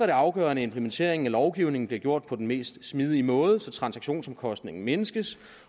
det afgørende at implementeringen af lovgivningen bliver gjort på den mest smidige måde så transaktionsomkostningen mindskes